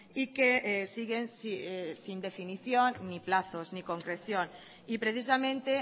y que siguen sin definición ni plazos ni concreción y precisamente